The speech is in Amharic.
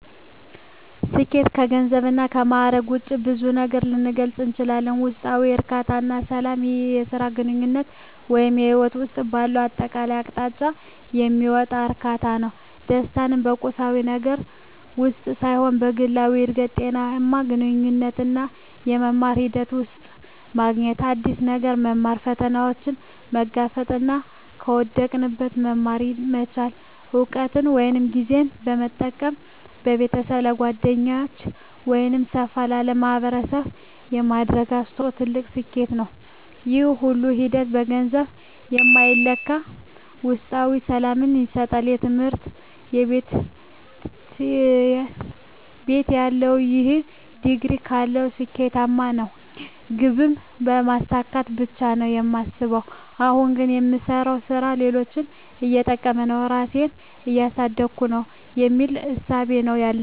ስኬት ከገንዘብ እና ከማእረግ ውጭ በብዙ ነገር ልገልፀው እችላልሁ። ውስጣዊ እርካታ እና ሰላም ይህ በሥራ፣ በግንኙነት ወይም በሕይወት ውስጥ ባለው አጠቃላይ አቅጣጫ የሚመጣ እርካታ ነው። ደስታን በቁሳዊ ነገር ውስጥ ሳይሆን በግላዊ እድገት፣ ጤናማ ግንኙነቶች እና በመማር ሂደት ውስጥ ማግኘት። አዲስ ነገር መማር፣ ፈተናዎችን መጋፈጥ እና ከውድቀት መማር መቻል። እውቀትን ወይም ጊዜን በመጠቀም ለቤተሰብ፣ ለጓደኞች ወይም ሰፋ ላለ ማኅበረሰብ የሚደረግ አስተዋጽኦ ትልቅ ስኬት ነው። ይህ ሁሉ ሂደት በገንዘብ የማይለካ ውስጣዊ ሰላምን ይሰጣል። በትምህርት ቤትተያለሁ "ይህን ዲግሪ ካገኘሁ ስኬታማ ነኝ" ግብን ስለማሳካት ብቻ ነው የማስበው። አሁን ግን "የምሰራው ሥራ ሌሎችን እየጠቀመ ነው? ራሴን እያሳደግኩ ነው?" የሚል እሳቤ ነው ያለኝ።